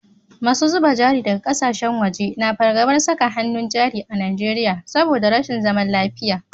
Masu zuba jari daga kasashen waje na fargabar saka hannun jari a Najeriya saboda rashin zaman lafiya